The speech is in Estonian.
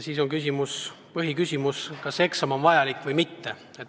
Põhiküsimus ongi, kas see eksam on vajalik või mitte.